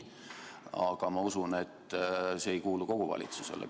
Aga ma usun, et see ei ole kogu valitsuse seisukoht.